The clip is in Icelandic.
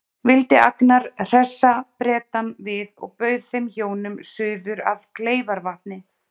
Vildi Agnar hressa Bretann við og bauð þeim hjónum suður að Kleifarvatni.